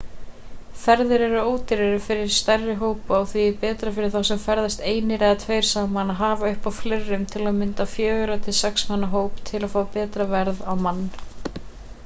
ferðir eru ódýrari fyrir stærri hópa og því er betra fyrir þá sem ferðast einir eða tveir saman að hafa uppi á fleirum til að mynda fjögurra til sex manna hóp til að fá betra verð á mann